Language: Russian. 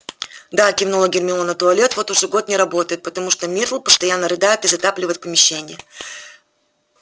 да кивнула гермиона туалет вот уже год не работает потому что миртл постоянно рыдает и затапливает помещение